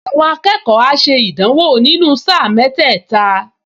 Àwọn akẹ́kọ̀ọ á ṣe ìdánwò nínú sáà mẹ́tẹ́ẹ̀ta